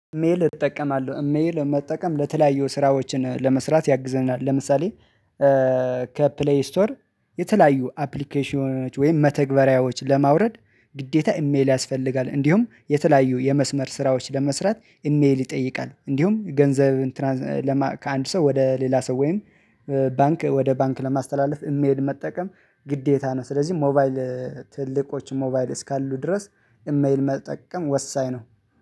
ኢሜል እጠቀማለሁ ኢሜል መጠቀም ለተለያዩ ስራዎችን ለመስራት ያግዘናል ለምሳሌ። ከፕሌይ ስቶር የተለያዩ አፕሊኬሽኖች ወይም መተግበሪያዎች ለማውረድ ግዴታ ኢሜል ያስፈልጋል። እንዲሁም የተለያዩ የመስመር ስራዎች ለመስራት ኢሜል ይጠይቃል። እንዲሁም ገንዘብ እንትን ከአንድ ሰው ወደ ሌላ ሰው ወይም ባንክ ወደ ባንክ ለማስተላለፍ ኢሜል መጠቀም ግዴታ ነው። ስለዚህ ሞባይል ትልቆች ሞባይል እስካሉ ድረስ ኢሜል መጠቀም ወሳኝ ነው